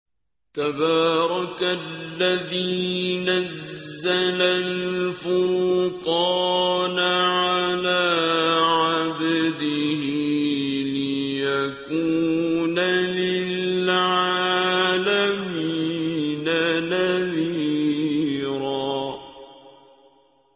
تَبَارَكَ الَّذِي نَزَّلَ الْفُرْقَانَ عَلَىٰ عَبْدِهِ لِيَكُونَ لِلْعَالَمِينَ نَذِيرًا